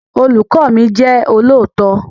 Olùkọ́ mi jẹ́ olóòótọ́